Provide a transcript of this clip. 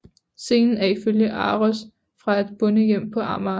Scenen er ifølge ARoS fra et bondehjem på Amager